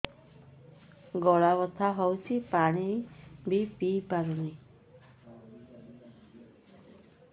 ଗଳା ବଥା ହଉଚି ପାଣି ବି ପିଇ ପାରୁନି